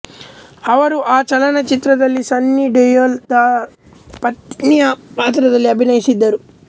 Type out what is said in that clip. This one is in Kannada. ಅವರು ಆ ಚಲನಚಿತ್ರದಲ್ಲಿ ಸನ್ನಿ ದೆಯೊಲ್ ರ ಪತ್ನಿಯ ಪಾತ್ರದಲ್ಲಿ ಅಭಿನಯಿಸಿದ್ದರು